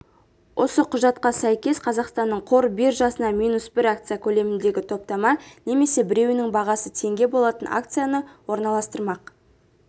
осы құжатқа сәйкес қазақстанның қор биржасына минус бір акция көлеміндегі топтама немесе біреуінің бағасы теңге болатын акцияны орналастырмақ